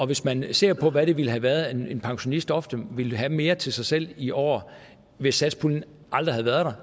hvis man ser på hvad det ville have været at en pensionist ofte ville have mere til sig selv i år hvis satspuljen aldrig havde været